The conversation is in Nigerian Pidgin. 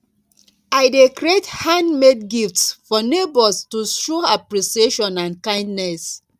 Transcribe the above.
i dey create handmade gifts for neighbors to show appreciation and kindness